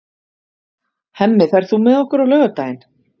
Hemmi, ferð þú með okkur á laugardaginn?